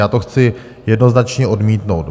Já to chci jednoznačně odmítnout.